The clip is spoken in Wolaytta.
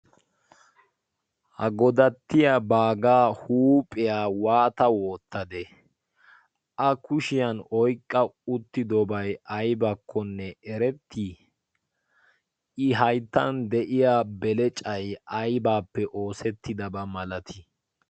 ha godattiya baagaa huuphiyaa waata woottade a kushiyan oiqqa uttidobay aybakkonne erettii i hayttan de'iya belecay aybaappe oosettidabaa malatii